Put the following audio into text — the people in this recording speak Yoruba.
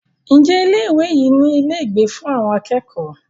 Ǹjẹ́ ilé ìwé yìí ní ilé ìgbé fún àwọn akẹ́kọ̀ọ́?